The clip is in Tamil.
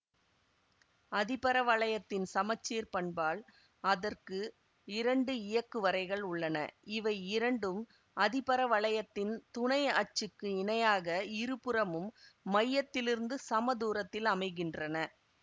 அதிபரவளையத்தின் சமச்சீர்ப் பண்பால் அதற்கு இரண்டு இயக்குவரைகள் உள்ளன இவை இரண்டும் அதிபரவளையத்தின் துணை அச்சுக்குக்கு இணையாக இருபுறமும் மையத்திலிருந்து சமதூரத்தில் அமைகின்றன